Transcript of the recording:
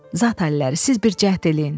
Zat əlləri, siz bir cəhd eləyin.